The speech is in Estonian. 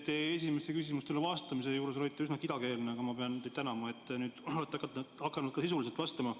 Te esimesele küsimustele vastamise juures olite üsna kidakeelne, aga ma pean teid tänama, et te olete nüüd hakanud ka sisuliselt vastama.